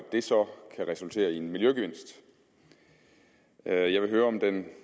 det så kan resultere i en miljøgevinst jeg vil høre om den